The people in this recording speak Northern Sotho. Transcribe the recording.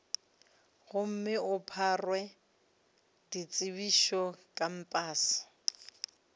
gomme o phare ditsebišo kampase